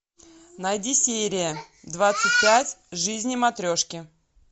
найди серия двадцать пять жизни матрешки